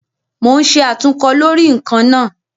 Mo ń ṣe àtúnkọ lórí ǹkan náà